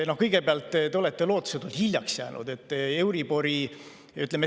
Kõigepealt, te olete lootusetult hiljaks jäänud.